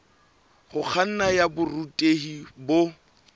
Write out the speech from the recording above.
ho kganna ya borutehi bo